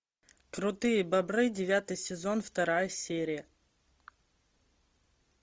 крутые бобры девятый сезон вторая серия